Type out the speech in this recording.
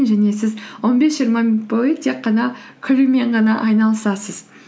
және сіз он бес жиырма минут бойы тек қана күлумен ғана айналысасыз